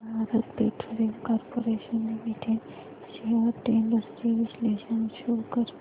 Bharat petroleum corporation limited shares trends चे विश्लेषण show कर